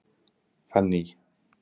Fanný